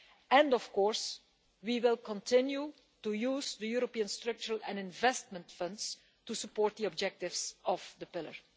And of course we will continue to use the European Structural and Investment Funds to support the objectives of the Pillar.